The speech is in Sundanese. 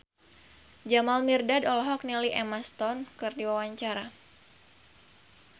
Jamal Mirdad olohok ningali Emma Stone keur diwawancara